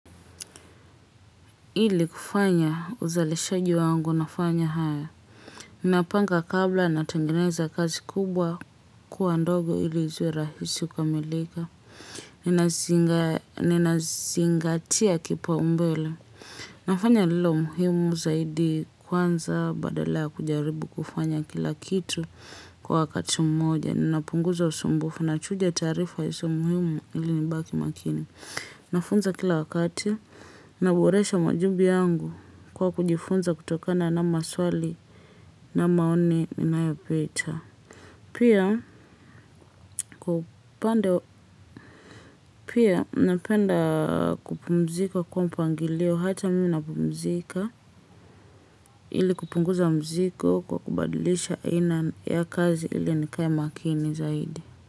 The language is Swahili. Ili kufanya uzalishaji wangu nafanya haya. Ninapanga kabla natengeneza kazi kubwa kuwa ndogo ili ziwe rahisi kukamilika. Ninazinga ninazingatia kipaumbele. Nafanya lililo muhimu zaidi kwanza badala ya kujaribu kufanya kila kitu kwa wakati mmoja. Ninapunguza usumbufu nachuja taarifa isiyo muhimu ili nibaki makini. Nafunza kila wakati, naboresha majubi yangu kwa kujifunza kutokana na maswali na maoni ninayopita. Pia pia, napenda kupumzika kwa mpangilio hata mimi napumzika ili kupunguza mzigo kwa kubadilisha aina ya kazi ili nikae makini zaidi.